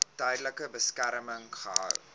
tydelike beskerming gehou